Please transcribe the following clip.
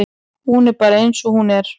Hún er bara eins og hún er.